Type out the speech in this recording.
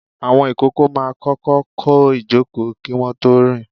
Àwọn ìkókó máa kọ́kọ́ kọ́ ìjòkó kí wọ́n tó rìn.